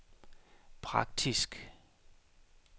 praktisk